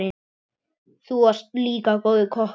Þú varst líka góður kokkur.